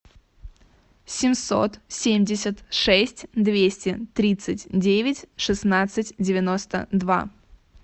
семьсот семьдесят шесть двести тридцать девять шестнадцать девяносто два